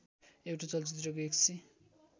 एउटा चलचित्रको १००